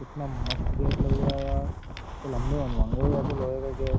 इतना मस्त गेट लग रहा है यार लंबे होंगे ऐसे लोहे का गेट ।